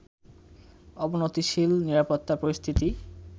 অবনতিশীল নিরাপত্তা পরিস্থিতি